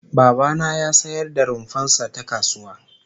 Baba na ya sayar da rumfar sa ta kasuwa